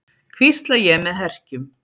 hvísla ég með herkjum.